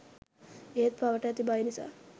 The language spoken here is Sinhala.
ඒත් පවට ඇති බය නිසා